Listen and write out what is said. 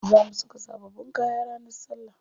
Za mu saka sababbin kaya ranar salla.